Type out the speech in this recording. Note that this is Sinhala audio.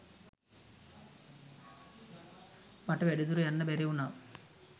මට වැඩි දුර යන්න බැරි වුණා.